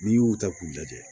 N'i y'u ta k'u lajɛ